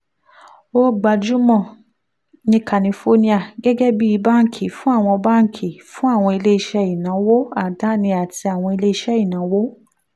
ó gbajúmọ̀ ní kálífóríà gẹ́gẹ́ bí banki fún àwọn banki fún àwọn iléeṣẹ́ ìnáwó àdáni àti àwọn iléeṣẹ́ ìnáwó